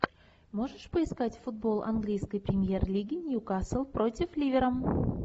можешь поискать футбол английской премьер лиги ньюкасл против ливера